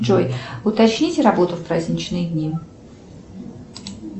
джой уточните работу в праздничные дни